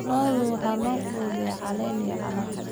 Lo'da waxaa la quudiyaa caleen iyo calaf.